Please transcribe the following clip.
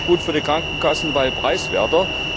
Das war gut für die Krankenkassen, weil preiswerter.